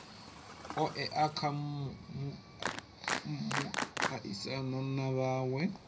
oea kha muaisano na mawe